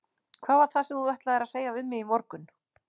Hvað var það sem þú ætlaðir að segja við mig í morgun?